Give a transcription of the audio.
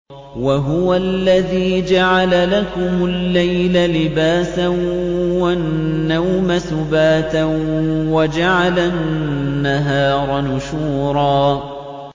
وَهُوَ الَّذِي جَعَلَ لَكُمُ اللَّيْلَ لِبَاسًا وَالنَّوْمَ سُبَاتًا وَجَعَلَ النَّهَارَ نُشُورًا